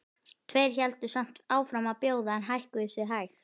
Tveir héldu samt áfram að bjóða en hækkuðu sig hægt.